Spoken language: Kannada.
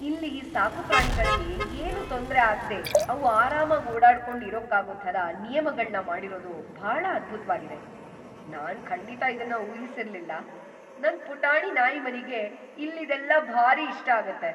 ಇಲ್ಲಿ ಸಾಕುಪ್ರಾಣಿಗಳ್ಗೆ ಏನೂ ತೊಂದ್ರೆ ಆಗ್ದೇ ಅವು ಆರಾಮಾಗ್‌ ಓಡಾಡ್ಕೊಂಡ್‌ ಇರೋಕ್ಕಾಗೋ ಥರ ನಿಯಮಗಳ್ನ ಮಾಡಿರೋದು ಭಾಳ ಅದ್ಭುತ್ವಾಗಿದೆ, ನಾನ್‌ ಖಂಡಿತ ಇದನ್ನ ಊಹಿಸಿರ್ಲಿಲ್ಲ.. ನನ್‌ ಪುಟಾಣಿ ನಾಯಿಮರಿಗೆ ಇಲ್ಲಿದೆಲ್ಲ ಭಾರೀ ಇಷ್ಟ ಆಗತ್ತೆ!